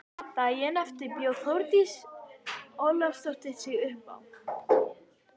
Daginn eftir bjó Þórdís Ólafsdóttir sig uppá.